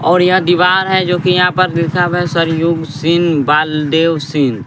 और यहां दीवार है जो कि यहां पर लिखा हुआ है सरयुग सिंह बालदेव सिंह।